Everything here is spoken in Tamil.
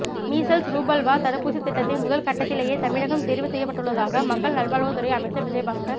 மீசல்ஸ் ரூபல்லா தடுப்பூசி திட்டத்தின் முதல் கட்டத்திலேயே தமிழகம் தேர்வு செய்யப்பட்டுள்ளதாக மக்கள் நல்வாழ்வு துறை அமைச்சர் விஜய பாஸ்கர்